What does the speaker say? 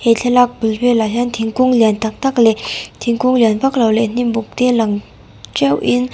he thlalak bul velah hian thingkung lian tak tak leh thingkung liam vak lo leh hnimbuk te lang teuhin--